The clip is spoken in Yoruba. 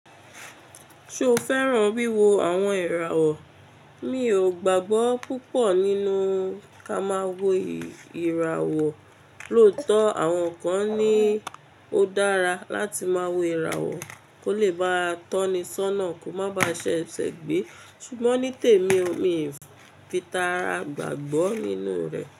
Ṣo fẹ́ràn wíwo àwọn ìràwọ̀? Mi ò gbàgbọ́ púpọ̀ nínú ká máa wo ìràwọ̀, lóòótọ́ àwọn kan ní ó dára láti máa wo ìràwọ̀ kó lè bá a tọ́ni ṣọ́nà kó má baà ṣi eṣẹ̀ gbẹ́. Ṣùgbọ́n ní tèmi mi ò fi tara gbàgbọ́ nínú rẹ̀.